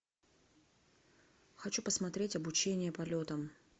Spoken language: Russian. хочу посмотреть обучение полетам